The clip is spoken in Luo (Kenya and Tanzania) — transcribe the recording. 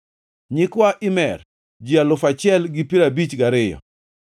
nyikwa Imer, ji alufu achiel gi piero abich gariyo (1,052),